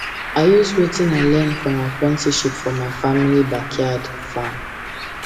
i use wetin i learn from apprenticeship for my family backyard farm